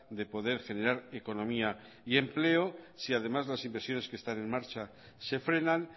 de poder generar economía y empleo si además las inversiones que están en marcha se frenan